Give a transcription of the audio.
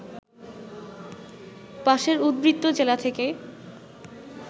পাশের উদ্বৃত্ত জেলা থেকে